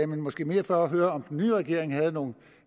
men måske mere for at høre om den nye regering havde nogle